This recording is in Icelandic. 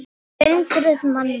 Hundruð manna.